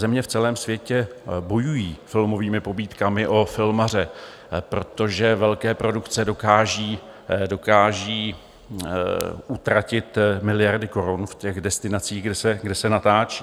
Země v celém světě bojují filmovými pobídkami o filmaře, protože velké produkce dokážou utratit miliardy korun v těch destinacích, kde se natáčí.